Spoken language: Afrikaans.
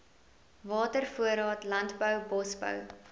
watervoorraad landbou bosbou